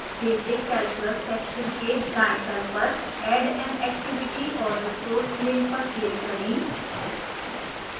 basic calculus section के दाएं तल पर add an activity or resource link पर click करें